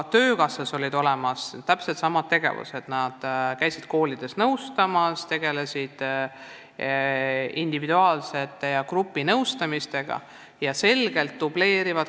Ka töökassas on käinud täpselt sama tegevus: spetsialistid on käinud koolides andmas nõu nii õppuritele individuaalselt kui gruppidele.